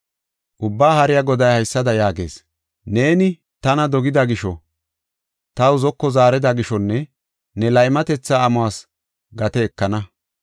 Ubbaa Haariya Goday haysada yaagees: “Neeni tana dogida gisho, taw zoko zaarida gishonne ne laymatetha amuwas gate ekana.”